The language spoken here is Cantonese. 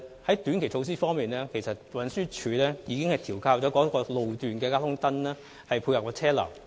在短期措施方面，運輸署已調校該路段的交通燈以配合車流。